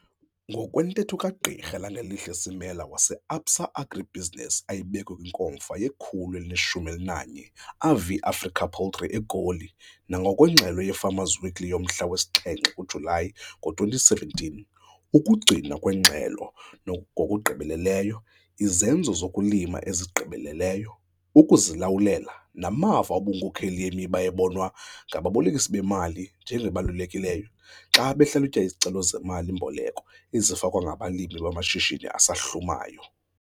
Ngokwentetho kaGq Langelihle Simela waseAbsa AgriBusiness ayibeke kwiNkomfa ye-111th AVI Africa Poultry eGoli nangokwengxelo yeFarmer's Weekly yomhla wesi-7 kuJulayi ngo-2017, ukugcinwa kweengxelo ngokugqibeleleyo, izenzo zokulima ezigqibeleleyo, ukuzilawulela, namava obunkokeli yimiba ebonwa ngababolekisi bemali njengebalulekileyo xa behlalutya izicelo zemali-mboleko ezifakwe ngabalimi bamashishini asahlumayo.